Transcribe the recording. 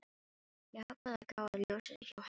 Ég ákvað að gá að ljósi hjá henni.